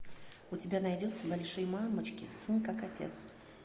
у тебя найдется большие мамочки сын как отец